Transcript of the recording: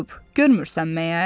Görmürsən məyər?